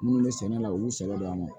Minnu bɛ sɛnɛ la u y'u sɛgɛn yan nɔ